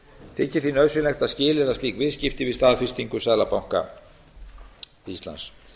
þykir því nauðsynlegt að skilyrða slík viðskipti við staðfestingu seðlabanka íslands